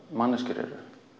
manneskjur